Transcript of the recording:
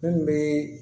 Mun bɛ